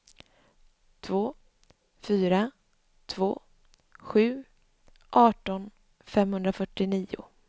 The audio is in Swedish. två fyra två sju arton femhundrafyrtionio